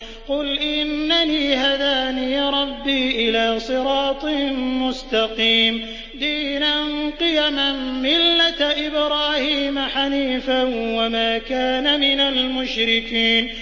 قُلْ إِنَّنِي هَدَانِي رَبِّي إِلَىٰ صِرَاطٍ مُّسْتَقِيمٍ دِينًا قِيَمًا مِّلَّةَ إِبْرَاهِيمَ حَنِيفًا ۚ وَمَا كَانَ مِنَ الْمُشْرِكِينَ